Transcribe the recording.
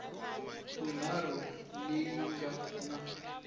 ya vunharhu leyi nga na